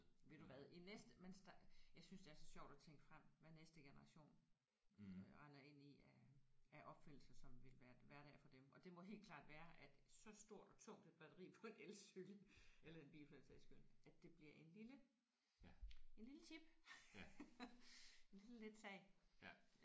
Ved du hvad i næste mens der jeg synes det er så sjovt at tænke frem hvad næste generation øh render ind i af af opfindelser som vil være hverdag for dem og det må helt klart være at så stort og tungt et batteri på en elcykel eller i en bil for den sags skyld at det bliver en lille en lille chip en lille let sag